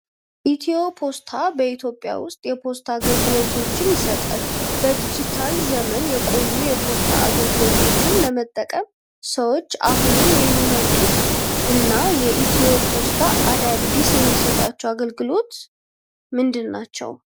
ኢትዮፖስት በኢትዮጵያ ውስጥ የፖስታ አገልግሎቶችን ይሰጣል። በዲጂታል ዘመን የቆዩ የፖስታ አገልግሎቶችን ለመጠቀም ሰዎች አሁንም የሚመርጡት እና ኢትዮፖስት አዳዲስ የሚሰጣቸው አገልግሎቶች ምንድን ናቸው?